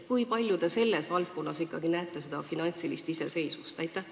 Kui palju te selles valdkonnas ikkagi näete seda finantsilist iseseisvust?